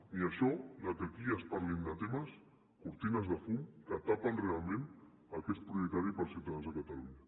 ni això que aquí es parlin de temes cortines de fum que tapen realment el que és prioritari pels ciutadans de catalunya